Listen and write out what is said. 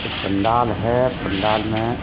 पंडाल है पंडाल में --